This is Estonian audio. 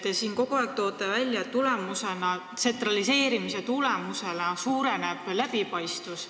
Te siin toote kogu aeg välja, et tsentraliseerimise tulemusena suureneb läbipaistvus.